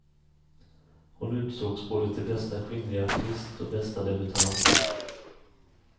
Hon utsågs både till bästa kvinnliga artist och bästa debutant.